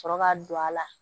Sɔrɔ ka don a la